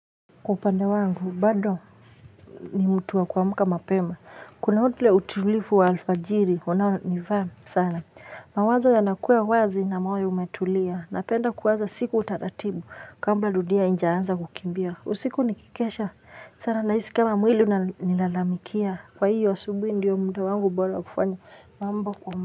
Upande wangu bado ni mtu wa kuamka mapema. Kuna utulivu wa alfajiri. Unaonifaa sana. Mawazo yanakuwa ya uwazi na moyo umetulia. Napenda kuaza siku taratibu. Kabla dunia haijaanza kukimbia. Usiku nikikesha sana. Nahisi kama mwili unanilalamikia. Kwa hiyo asubuhi ndiyo muda wangu bora wa kufanya. Mambo kwa mba.